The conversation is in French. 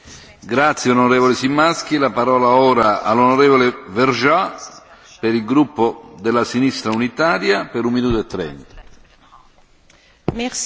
Monsieur le Président, je voudrais, à mon tour, remercier notre rapporteur pour son écoute et son travail, tout comme l'ensemble des rapporteurs fictifs qui ont contribué à la qualité de ce rapport.